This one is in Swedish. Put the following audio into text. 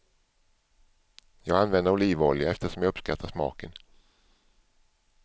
Jag använder olivolja eftersom jag uppskattar smaken.